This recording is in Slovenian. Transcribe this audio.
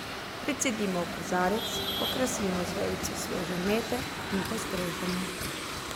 Precedimo v kozarec, okrasimo z vejico sveže mete in postrežemo.